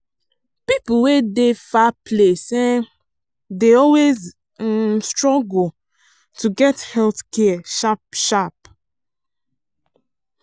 people wey dey far place um dey always um struggle to get healthcare sharp sharp.